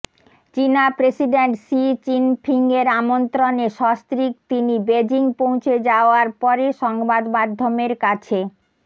চিনা president Xi চিনফিংয়ের আমন্ত্রণে সস্ত্রীক তিনি বেজিং পৌঁছে যাওয়ার পরে সংবাদমাধ্যমের কাছে